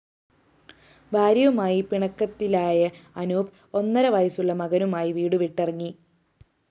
ഭാര്യയുമായി പിണക്കിത്തിലായ അനൂപ്‌ ഒന്നരവയസ്സുള്ള മകനുമായി വീടുവിട്ടിറങ്ങി